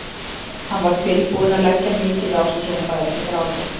Hann var tilbúinn að leggja mikið á sig svo hún færi ekki að gráta.